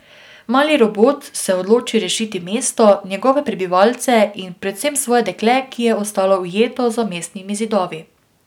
Mali robot se odloči rešiti mesto, njegove prebivalce in predvsem svoje dekle, ki je ostalo ujeto za mestnimi zidovi.